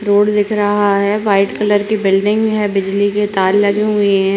Road दिख रहा है वाइट कलर की बिल्डिंग है बिजली के तार लगे हुए हैं।